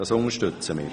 Das unterstützen wir.